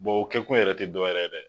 o kɛ kun yɛrɛ tɛ dɔ wɛrɛ ye dɛ